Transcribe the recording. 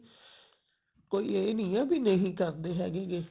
ਕੋਈ ਏ ਨਹੀਂ ਹੈ ਵੀ ਨਹੀਂ ਕਰਦੇ ਹੈਗੇ